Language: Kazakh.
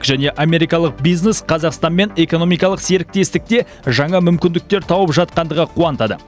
және америкалық бизнес қазақстанмен экономикалық серіктестікте жаңа мүмкіндіктер тауып жатқандығы қуантады